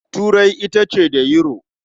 Turai ita ce da Yuro.